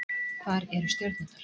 Hvar eru stjörnurnar?